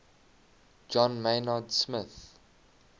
john maynard smith